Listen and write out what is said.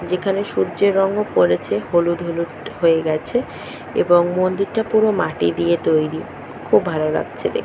যেখানে সূর্যের রঙও পড়েছে হলুদ হলুদ হয়ে গেছে এবং মন্দিরটা পুরো মাটি দিয়ে তৈরি খুব ভালো লাগছে দে--